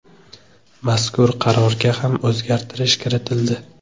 Mazkur qarorga ham o‘zgartirish kiritildi.